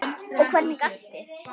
Og hvernig gastu.?